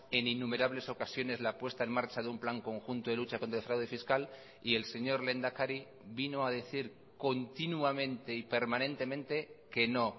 en innumerables ocasiones la puesta en marcha de un plan conjunto de lucha contra el fraude fiscal y el señor lehendakari vino a decir continuamente y permanentemente que no